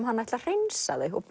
hann ætli að hreinsa þau og